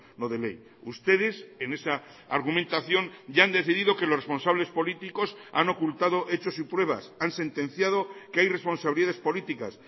no de ley ustedes en esa argumentación ya han decidido que los responsables políticos han ocultado hechos y pruebas han sentenciado que hay responsabilidades políticas